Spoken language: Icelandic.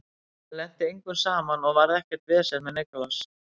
Það lenti engum saman og varð ekkert vesen með Nicolas.